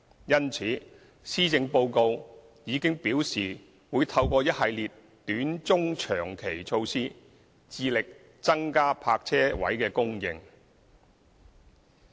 因此，施政報告已表示會透過一系列短、中、長期措施，致力增加泊車位供應。